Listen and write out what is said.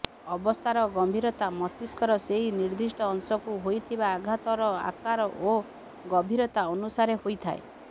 ଅବସ୍ଥାର ଗମ୍ଭୀରତା ମସ୍ତିଷ୍କର ସେହି ନିର୍ଦ୍ଧିଷ୍ଟ ଅଂଶକୁ ହୋଇଥିବା ଆଘାତର ଆକାର ଓ ଗଭୀରତା ଅନୁସାରେ ହୋଇଥାଏ